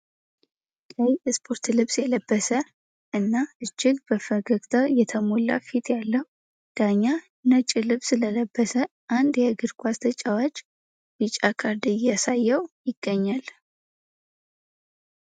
ቀይ የስፖርት ልብስ የለበሰ እና እጅግ በፈገግታ የተሞላ ፊት ያለው ዳኛ ነጭ ልብስ ለለበሰ አንድ የእግር ኳስ ተጫዋች ቢጫ ካርድ እያሳየው ይገኛል።